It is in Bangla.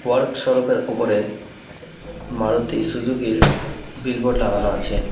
ওয়ার্ক সরপ -এর ওপরে মারুতি সুজুকি -র বিল বোর্ড লাগানো আছে।